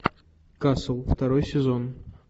касл второй сезон